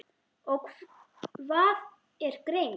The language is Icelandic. og Hvað er greind?